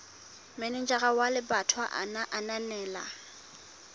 manejara wa lebatowa a ananela